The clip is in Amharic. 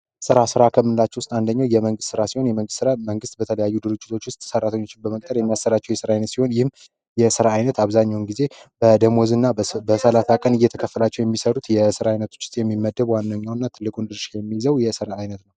ራ ሠራተኞች ውስጥ አንደኛው የመንግስት ራሴን የመንግስት መንግስት በተለያዩ ድርጅቶች ውስጥ ሰራተኞች በመጠራቸውን ይህም የእስራኤል አብዛኛውን ጊዜ በደሞዝና በሰላሳ ቀን እየተከፈላቸው የሚሰሩት የስራ አይነቶች የሚመደቡ ዋነኛ ትልቁ